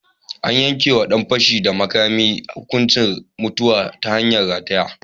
An yanke wa ɗan fashi da makami hukuncin mutuwa ta hanyar rataye.